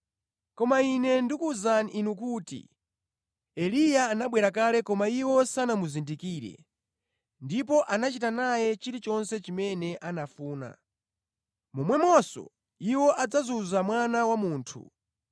Koma Ine ndikuwuzani inu kuti Eliya anabwera kale koma iwo sanamuzindikire ndipo anachita naye chilichonse chimene anafuna. Momwemonso iwo adzazunza Mwana wa Munthu.”